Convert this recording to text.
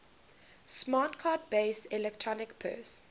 smart card based electronic purse